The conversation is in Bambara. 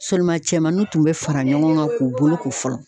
Sɔliman cɛmanninw tun bɛ fara ɲɔgɔn kan k'u bolo ko fɔlɔ.